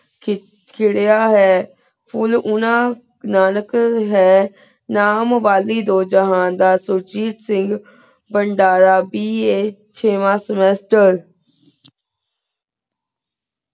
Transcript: ਖਿਰੇਯਾ ਹੈਂ ਫੁਲ ਉਨਾ ਨਾਨਿਕ ਹੈਂ ਨਾਮ ਵਾਲੀ ਦੁਹ ਜੇਹਨ ਦਾ ਸੂਚੀ ਸਿੰਗ ਵੇਦਰਾ BA ਚਿਵ੍ਨ semaster